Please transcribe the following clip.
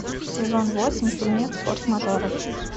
сезон восемь фильмец форс мажоры